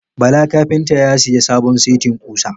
Bala carpenter ya siya sabon setin kusa.